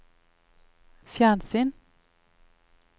fjernsyn